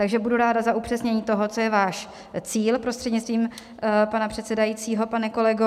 Takže budu ráda za upřesnění toho, co je váš cíl, prostřednictvím pana předsedajícího pane kolego.